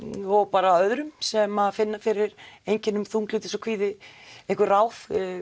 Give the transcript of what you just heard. og bara öðrum sem finna fyrir einkennum þunglyndis og kvíða einhver ráð